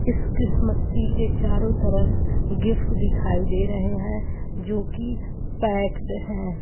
इस Christmas tree के चारों तरफ गिफ्ट दिखाई दे रहे हैं जो कि पैक्ड हैं|